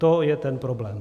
To je ten problém.